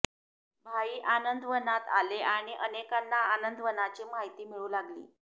भाई आनंदवनात आले आणि अनेकांना आनंदवनाची माहिती मिळू लागली